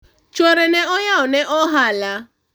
chuore ne oyawo ne ohala